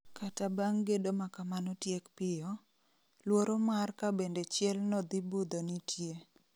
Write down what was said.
Kata bang' gedo makamano tiek piyo, luoro mar ka bende chiel no dhi budho nitie